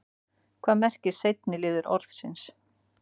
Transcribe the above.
hvað merkir seinni liður orðsins